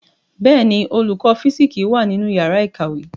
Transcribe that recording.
Bẹẹni, olùkọ fisiksi wá nínú yàrá ìkàwé